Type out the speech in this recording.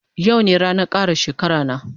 Yau ne ranan kara shekara na